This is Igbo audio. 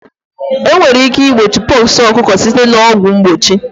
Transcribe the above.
Enwere ike igbochi pox ọkụkọ site na ọgwụ mgbochi